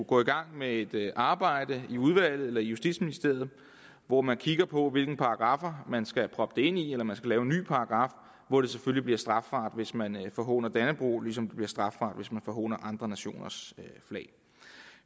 gå i gang med et arbejde i udvalget eller i justitsministeriet hvor man kigger på hvilken paragraf man skal proppe det ind i eller man skal lave en ny paragraf hvor det selvfølgelig bliver strafbart hvis man forhåner dannebrog ligesom det bliver strafbart hvis man forhåner andre nationers flag